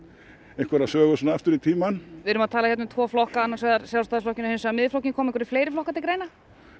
einhverja sögu aftur í tímann við erum að tala um þessa tvo flokka Sjálfstæðisflokkinn og Miðflokkinn koma fleiri flokkar til greina